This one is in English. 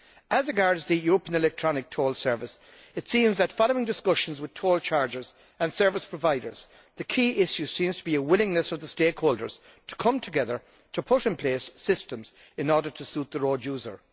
As regards the European Electronic Toll Service, it seems that, following discussions with toll chargers and service providers, the key issue seems to be a willingness of the stakeholders to come together to put in place systems in order to suit the road user.